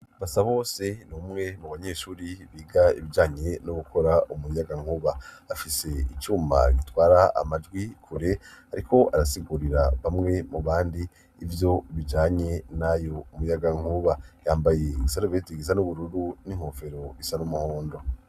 Basabose, n'umwe mu banyeshuri biga ibijanye no gukora umuyagankuba, afise icuma gitwara amajwi kure, ariko arasigurira bamwe mu bandi, ivyo bijanye n'uyo muyagankuba yambaye isarubeti isa n'ubururu, n'inkofero isa n'umuhondo.